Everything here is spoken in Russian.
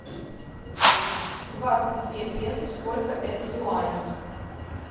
двадцать две песо сколько это юаней